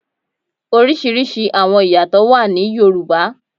Oriṣiriṣi awọn iyatọ wà ní Yoruba.